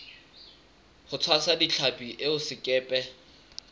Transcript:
ho tshwasa ditlhapi eo sekepe